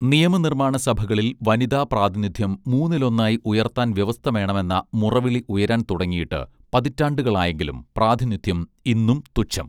നിയമ നിർമ്മാണ സഭകളിൽ വനിതാ പ്രാതിനിധ്യം മൂന്നിലൊന്നായി ഉയർത്താൻ വ്യവസ്ഥ വേണമെന്ന മുറവിളി ഉയരാൻ തുടങ്ങിയിട്ട് പതിറ്റാണ്ടുകളായെങ്കിലും പ്രാതിനിധ്യം ഇന്നും തുച്ഛം.